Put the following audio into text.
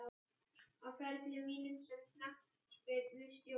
Á ferli mínum sem knattspyrnustjóri?